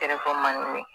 Kɛrɛfɛ manje